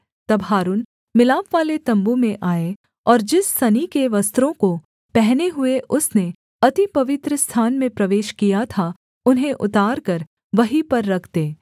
तब हारून मिलापवाले तम्बू में आए और जिस सनी के वस्त्रों को पहने हुए उसने अति पवित्रस्थान में प्रवेश किया था उन्हें उतारकर वहीं पर रख दे